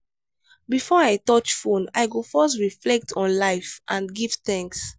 before i touch phone i go first reflect on life and give thanks.